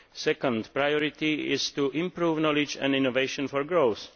the second priority is to improve knowledge and innovation for growth